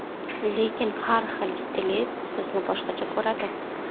Lekin har bir stilist sizni boshqacha ko‘radi.